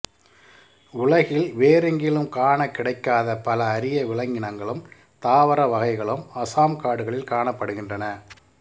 உலகில் வேறெங்கிலும் காண கிடைக்காத பல அரிய விலங்கினங்களும் தாவர வகைகளும் அசாம் காடுகளில் காணப்படுகின்றன